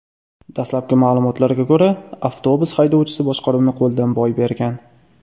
Dastlabki ma’lumotlarga ko‘ra, avtobus haydovchisi boshqaruvni qo‘ldan boy bergan.